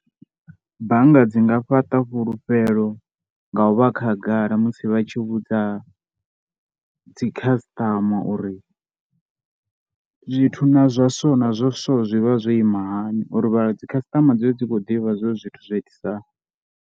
Bannga dzi nga fhaṱa fhulufhelo nga u vha khagala musi vha tshi vhudza dzi customer uri zwithu na zwa so na zwa so, zwi vha zwo ima hani uri vha dzi customer dzi vhe dzi kho ḓivha zwo ri zwithu zwa itisaho.